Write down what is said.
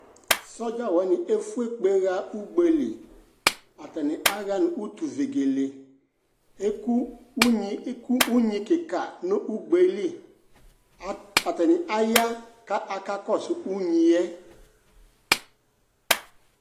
Sɔdza wanɩ efue kpe ɣa ugbe li Atanɩ aɣa nʋ utuvegele Eku unyi eku unyi kɩka nʋ ugbe yɛ li A atanɩ aya kʋ akakɔsʋ unyi yɛ